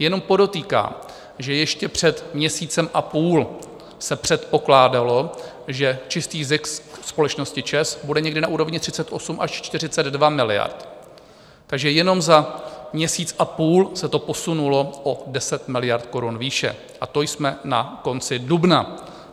Jenom podotýkám, že ještě před měsícem a půl se předpokládalo, že čistý zisk společnost ČEZ bude někde na úrovni 38 až 42 miliard, takže jenom za měsíc a půl se to posunulo o 10 miliard korun výše, a to jsme na konci dubna.